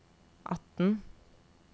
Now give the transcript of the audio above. atten